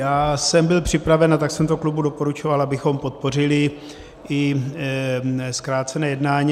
Já jsem byl připraven a tak jsem to klubu doporučoval, abychom podpořili i zkrácené jednání.